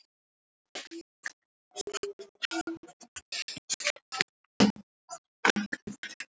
Bandaríkin vilja ekki loka stöðinni og þess vegna getur Kúba ekki lokað henni heldur.